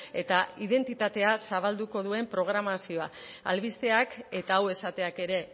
eta identitatea zabalduko duen programazioa albisteak eta hau esateak ere